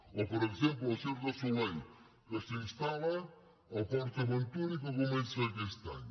o per exemple el cirque du soleil que s’instal·la a port aventura i que comença aquest any